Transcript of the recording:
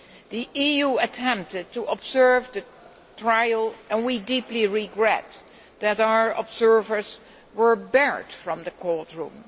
The EU attempted to observe the trial, and we deeply regret that our observers were barred from the courtroom.